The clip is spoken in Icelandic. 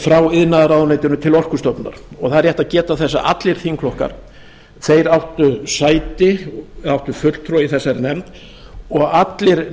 frá iðnaðarráðuneytinu til orkustofnunar það er rétt að geta þess að allir þingflokkar þeir áttu sæti áttu fulltrúa í þessari nefnd og allir